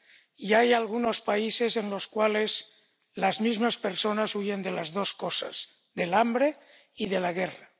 Y hay algunos países en los cuales las mismas personas huyen de las dos cosas, del hambre y de la guerra.